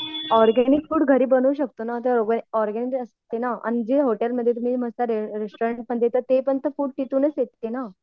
Organic food घरी बनवू शकतो ना जे असते ना आणि जे हॉटेल मध्ये तुम्ही रेस्टोरंटमध्ये ते पण फूड तिथूनच येते ना.